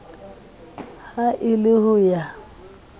ha e le ho ya